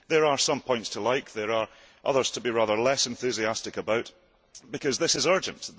There are some points to like, and there are others to be rather less enthusiastic about, because this is urgent.